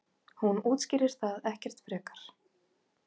Hún útskýrir það ekkert frekar.